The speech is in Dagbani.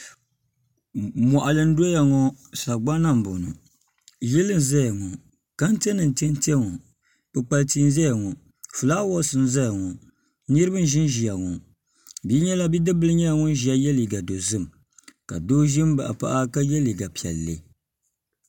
Mɔɣili n dɔya ŋɔ sagbana n bɔŋo yili n zaya ŋɔ kantɛ nim n tɛ tɛ ŋɔ kpukpali tia n zaya ŋɔ filaawaas n zaya ŋɔ niriba n ʒi n ʒiya ŋɔ bidibila nyɛla ŋun ʒiya yɛ liiga dozim ka doo ʒi n baɣa paɣa ka yɛ liiga piɛlli.